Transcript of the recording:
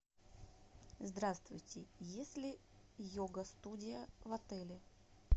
здравствуйте есть ли йога студия в отеле